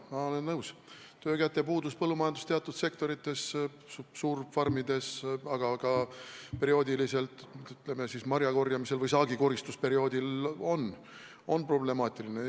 Ma olen nõus, et töökäte puudus põllumajanduse teatud sektorites, suurfarmides, aga perioodiliselt ka marjakorjamisel või üldse saagikoristusperioodil on problemaatiline.